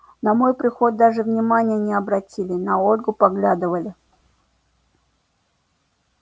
на мой приход даже внимания не обратили на ольгу поглядывали